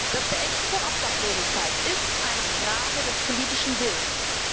Das Beenden von Obdachlosigkeit ist eine Frage des politischen Willens.